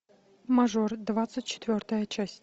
мажор двадцать четвертая часть